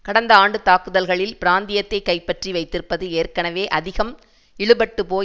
கடந்த ஆண்டு தாக்குதல்களில் பிராந்தியத்தை கைப்பற்றி வைத்திருப்பது ஏற்கனவே அதிகம் இழுபட்டுபோய்